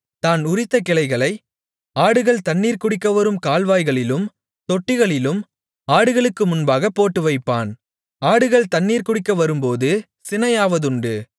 தான் உரித்த கிளைகளை ஆடுகள் தண்ணீர் குடிக்க வரும் கால்வாய்களிலும் தொட்டிகளிலும் ஆடுகளுக்கு முன்பாகப் போட்டுவைப்பான் ஆடுகள் தண்ணீர் குடிக்க வரும்போது சினையாவதுண்டு